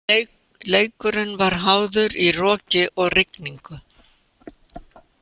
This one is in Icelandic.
Leikurinn var háður í roki og rigningu.